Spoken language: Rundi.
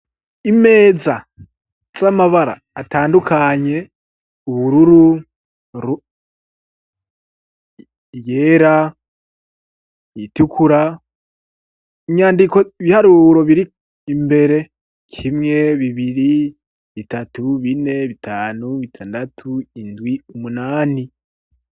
Imeza z'amabara atandukanye: ubururu, iyera, iyitukura, inyandiko ibiharuro biri imbere: kimwe, bibiri bitatu, bine, bitanu, bitandatu, indwi, umunani.